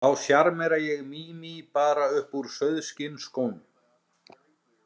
Þá sjarmera ég Mími bara upp úr sauðskinnsskónum.